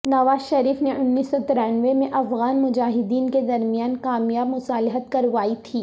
نواز شریف نے انیس سو ترانوے میں افغان مجاہدین کے درمیان کامیاب مصالحت کروائی تھی